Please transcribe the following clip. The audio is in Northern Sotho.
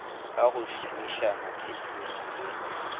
ka go šomišana thekeng le